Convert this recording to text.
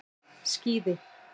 Skíði